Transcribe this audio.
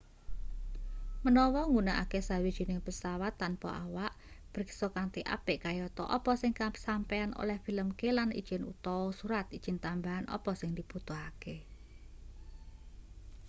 menawa nggunakake sawijining pesawat tanpa awak priksa kanthi apik kayata apa sing sampeyan oleh filmke lan ijin utawa surat ijin tambahan apa sing dibutuhake